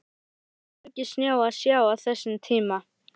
Það var hvergi snjó að sjá á þessum tíma.